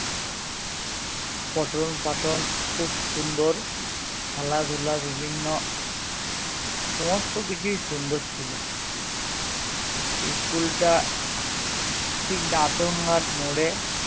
পঠন পাঠন খুব সুন্দর খেলাধুলো বিভিন্ন সমস্ত কিছুই সুন্দর ছিল school টা ঠিক দাঁতন ঘাট মোড়ে